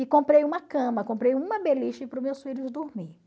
E comprei uma cama, comprei uma beliche para os meus filhos dormir.